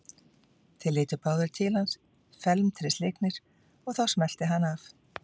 Þeir litu báðir til hans felmtri slegnir og þá smellti hann af.